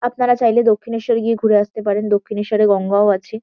আপনারা চাইলে দক্ষিনেশ্বর-এ গিয়ে ঘুরে আসতে পারেন। দক্ষিনেশ্বর-এ গঙ্গাও আছে।